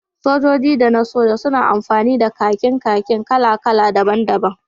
Sojoji da na soja suna amfani da kakin kakin kala-kala daban-daban